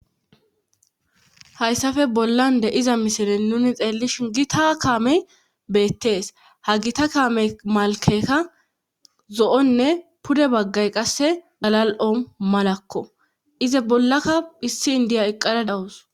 hayssafe bollan de iza misile nuni xeellishin gita kamey beettees ha gita kame malkeka zo7onne pude baggay qasse galal7o malakko ize bollaka hissi indiya eqqada dawus